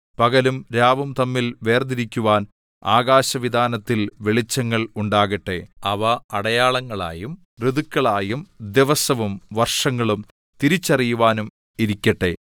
പകലും രാവും തമ്മിൽ വേർതിരിക്കുവാൻ ആകാശവിതാനത്തിൽ വെളിച്ചങ്ങൾ ഉണ്ടാകട്ടെ അവ അടയാളങ്ങളായും ഋതുക്കളും ദിവസവും വർഷങ്ങളും തിരിച്ചറിയുവാനായും ഇരിക്കട്ടെ